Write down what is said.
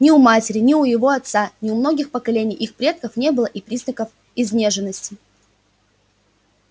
ни у его матери ни у его отца ни у многих поколений их предков не было и признаков изнеженности